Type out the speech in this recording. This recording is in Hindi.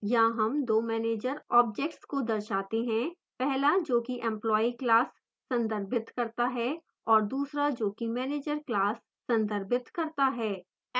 यहाँ हम दो manager objects को दर्शाते हैं